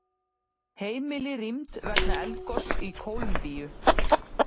Heimili rýmd vegna eldgoss í Kólumbíu